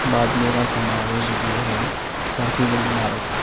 बादलो का समावेश भी है काफी बड़ी इमारत है।